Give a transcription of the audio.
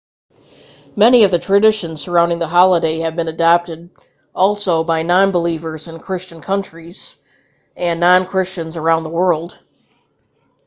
many of the traditions surrounding the holiday have been adopted also by non-believers in christian countries and non-christians around the world